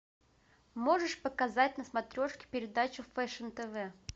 можешь показать на смотрешке передачу фэшн тв